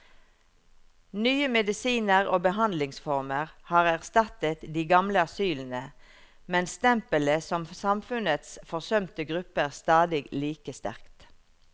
Nye medisiner og behandlingsformer har erstattet de gamle asylene, men stempelet som samfunnets forsømte gruppe er stadig like sterkt.